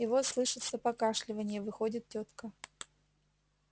и вот слышится покашливанье выходит тётка